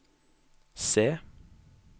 se